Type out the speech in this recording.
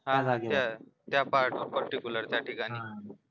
हा हा अच्छा त्या part particular त्या ठिकाणी